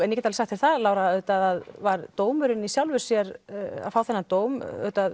ég get alveg sagt þér það Lára að auðvitað var dómurinn í sjálfu sér að fá þennan dóm